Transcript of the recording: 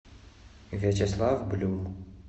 вячеслав блю